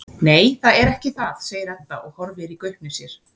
Nei, það er ekki það, segir Edda og horfir í gaupnir sér.